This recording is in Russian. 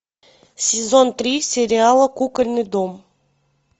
сезон три сериала кукольный дом